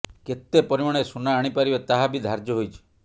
େକତେ ପରିମାଣରେ ସୁନା ଆଣିପାରିବେ ତାହା ବି ଧାର୍ଯ୍ୟ ହୋଇଛି